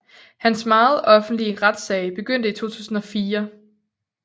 Hans meget offentlige retssag begyndte i 2004